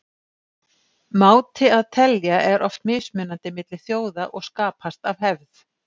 Máti að telja er oft mismunandi milli þjóða og skapast af hefð.